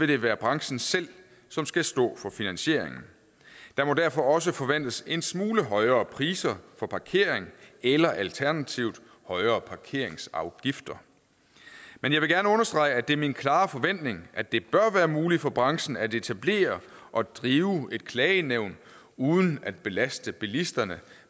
det være branchen selv som skal stå for finansieringen der må derfor også forventes en smule højere priser for parkering eller alternativt højere parkeringsafgifter men jeg vil gerne understrege at det er min klare forventning at det bør være muligt for branchen at etablere og drive et klagenævn uden at belaste bilisterne